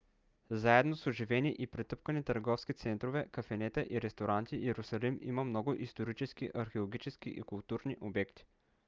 заедно с оживени и претъпкани търговски центрове кафенета и ресторанти йерусалим има много исторически археологически и културни обекти